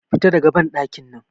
Fita daga banɗakin nan!